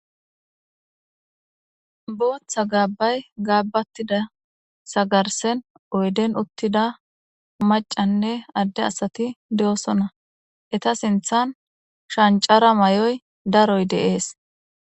booththa gaabbay gaabbattida sagarsen oyden uttida macanne adde asati de7osona eta sinthan shancara mayoy daroy de'ees